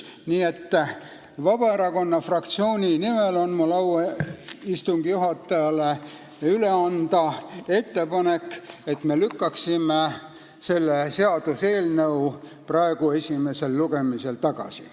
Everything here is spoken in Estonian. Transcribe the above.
Nii et Vabaerakonna fraktsiooni nimel on mul au istungi juhatajale üle anda ettepanek, et me lükkaksime selle seaduseelnõu esimesel lugemisel tagasi.